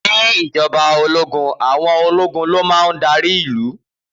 Ni Ìjọba òlógún àwọn òlógún lómàhún dàrí ìlú.